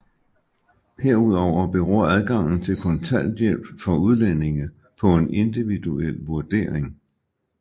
Herudover beror adgangen til kontanthjælp for udlændinge på en individuel vurdering